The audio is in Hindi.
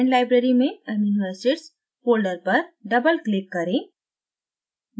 fragment library में amino acids folder पर double क्लिक्क करें